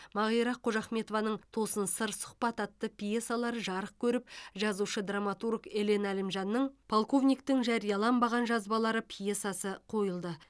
мағира қожахметованың тосын сыр сұхбат атты пьесалары жарық көріп жазушы драматург елен әлімжанның полковниктің жарияланбаған жазбалары пьесасы қойылды